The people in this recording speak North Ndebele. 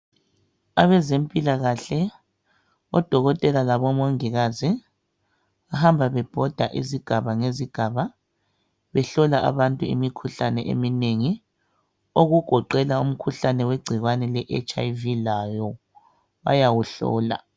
Abezempilakahle odokotela labo mongikazi bahamba bebhoda izigaba ngezigaba behlola abantu imikhuhlane eminengi, okugoqela umkhuhlane wegcikwane le"HIV" lawo bayawuhlola.